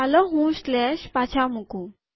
ચાલો હું સ્લેશ પાછા મુકું